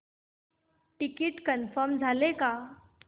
ticket confirm झाले का